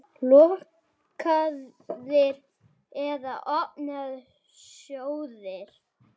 Lokaðir eða opnir sjóðir?